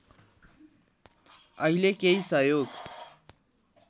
अहिले केही सहयोग